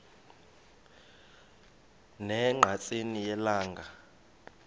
ne ngqatsini yelanga